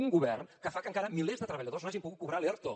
un govern que fa que encara milers de treballadors no hagin pogut cobrar l’erto